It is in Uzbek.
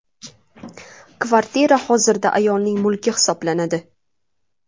Kvartira hozirda ayolning mulki hisoblanadi.